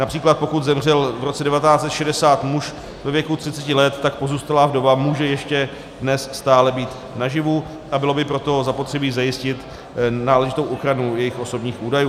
Například pokud zemřel v roce 1960 muž ve věku 30 let, tak pozůstalá vdova může ještě dnes stále být naživu, a bylo by proto zapotřebí zajistit náležitou ochranu jejích osobních údajů.